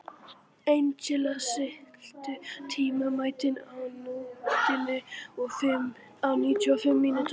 Angelína, stilltu tímamælinn á níutíu og fimm mínútur.